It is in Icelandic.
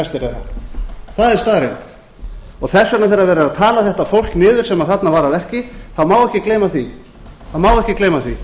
en flestir þeirra það er staðreynd þess vegna þegar verið er að tala þetta fólk niður sem þarna var að verki má ekki gleyma því